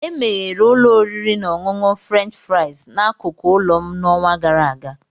Emeghere ụlọ oriri na ọṅụṅụ French fries n'akụkụ ụlọ m n'ọnwa gara aga